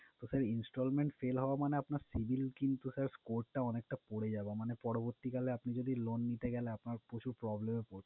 তো sir installment fail হওয়া মানে আপনার civil কিন্তু sir score টা অনেকটা পড়ে যাবে। মানে পরবর্তীকালে আপনি যদি loan নিতে গেলে আপনার প্রচুর problem এ পড়